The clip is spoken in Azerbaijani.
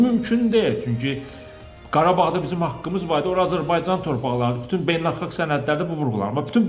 Bu mümkün deyil, çünki Qarabağda bizim haqqımız var, ora Azərbaycan torpaqlardır, bütün beynəlxalq sənədlərdə bu vurğulanır.